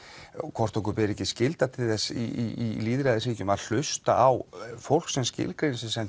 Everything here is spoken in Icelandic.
hvort okkur ber ekki skylda til þess í lýðræðisríkjum að hlusta á fólk sem skilgreinir sig sem